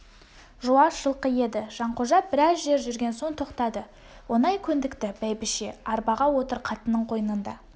жуас жылқы еді жанқожа біраз жер жүрген соң тоқтады оңай көндікті бәйбіше арбаға отыр қатынның қойнында